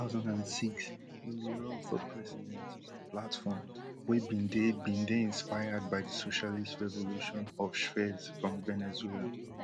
for two thousand and six e bin run for president on platform wey bin dey bin dey inspired by di socialist revolution of chvez from venezuela